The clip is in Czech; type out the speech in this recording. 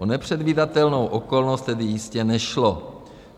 O nepředvídatelnou okolnost tedy jistě nešlo.